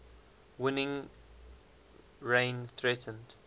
winning rene threatened